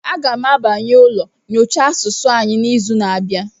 A ga m abanye ụlọ nyocha asụsụ anyị n'izu na-abịa.